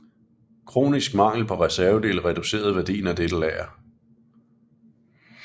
Kronisk mangel på reservedele reducerede værdien af dette lager